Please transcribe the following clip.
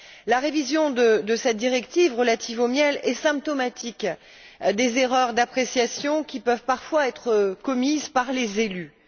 La révision de cette directive relative au miel est symptomatique des erreurs d'appréciation qui peuvent parfois être commises par les élus.